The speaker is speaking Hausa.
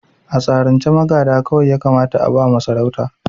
A tsarin ce magada kawai ya kamata a ba wa sarauta